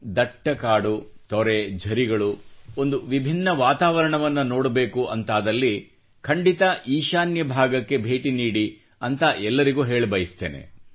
ದಟ್ಟ ಕಾಡು ತೊರೆ ಝರಿಗಳು ಒಂದು ವಿಭಿನ್ನ ವಾತಾವರಣವನ್ನು ನೋಡಬೇಕು ಎಂದಲ್ಲಿ ಖಂಡಿತಾ ಈಶಾನ್ಯ ಭಾಗಕ್ಕೆ ಭೇಟಿ ನೀಡಿ ಎಂದು ಎಲ್ಲರಿಗೂ ಹೇಳ ಬಯಸುತ್ತೇನೆ